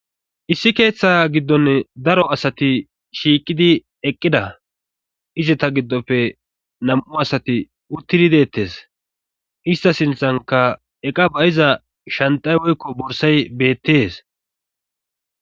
issi keeththa giddonne daro asati shiiqidi eqqida izeta giddofe nam7u asati uttidi deettes ista sinthanka eqa bayiza shantay woykko borsay beettees